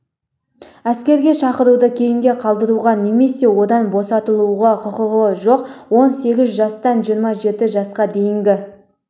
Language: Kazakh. әскерге шақыруды кейінге қалдыруға немесе одан босатылуға құқығы жоқ он сегіз жастан жиырма жеті жасқа дейінгі